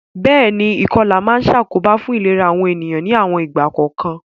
Béèni, ìkolà ma n sàkóbá fun ìlera àwon ènìyàn ni àwon ìgbà kòkan